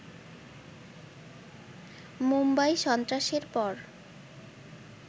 মুম্বই সন্ত্রাসের পর